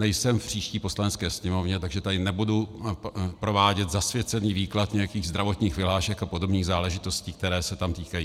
Nejsem v příští Poslanecké sněmovně, takže tady nebudu provádět zasvěcený výklad nějakých zdravotních vyhlášek a podobných záležitostí, které se toho týkají.